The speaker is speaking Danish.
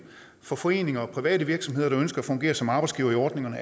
for foreninger og private virksomheder der ønsker at fungere som arbejdsgivere i ordningerne